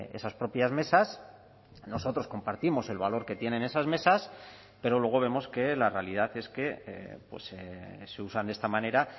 esas propias mesas nosotros compartimos el valor que tienen esas mesas pero luego vemos que la realidad es que se usan de esta manera